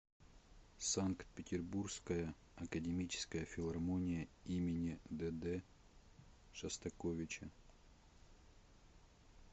санкт петербургская академическая филармония им дд шостаковича